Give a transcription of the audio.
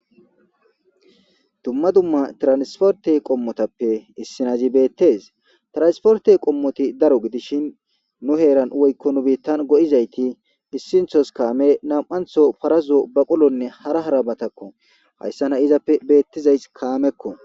dumma dumma tiransporte qommotappe issinazi beettes transporte qommoti daro gidishin nu heeran woykko nu biittan go7izayti issinthos kaame nam7antho parazo baqolonne hara harabatakko hayssa na izappe beettizays kaamekko